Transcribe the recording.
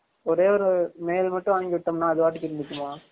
ஒரே ஒரு male மட்டும் வாங்கி விட்டொம்னா அது பாட்டுக்கு இருந்துகிருமா?